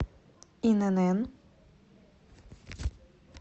инн